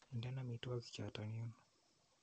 Inden amitwogik chotok yuun.